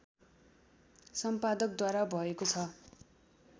सम्पादकद्वारा भएको छ